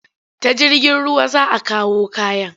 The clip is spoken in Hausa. Ta jirgin ruwa za a kawo kayan?